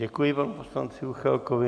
Děkuji panu poslanci Juchelkovi.